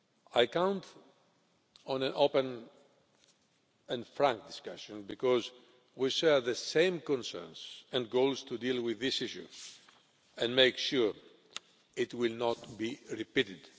I am counting on an open and frank discussion because we share the same concerns and goals in dealing with this issue and making sure it will not be repeated.